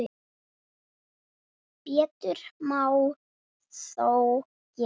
Betur má þó gera.